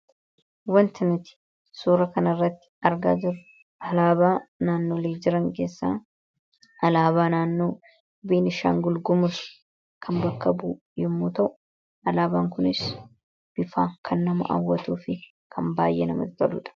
wantaniti suura kanirratti argaa halaabaa naannolee jiran keessaa alaabaa naannoo biinishaan gulgumur kan bakka buyemmuu ta'u alaabaan kunis bifaa kan nama awwatuu fi kan baay'ee nama titaluudha